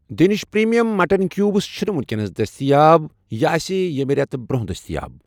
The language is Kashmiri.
دینِش پرٛیٖمیم مٹن کیوٗبٕس چھنہٕ وُکینَس دٔستِیاب، یہِ آسہِ ییٚٚمہِ رٮ۪تہٕ برونٛہہ دٔستِیاب